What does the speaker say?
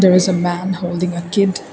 there is a man holding a kid.